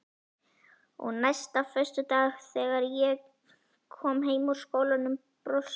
Og næsta föstudag þegar ég kom heim úr skólanum brosti